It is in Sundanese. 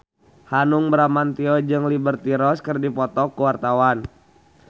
Hanung Bramantyo jeung Liberty Ross keur dipoto ku wartawan